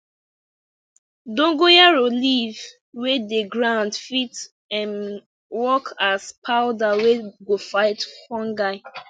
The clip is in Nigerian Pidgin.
dongoyaro leaf wey dey grind fit um work as powder wey go fight fungi